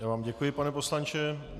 Já vám děkuji, pane poslanče.